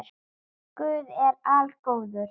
Guð er algóður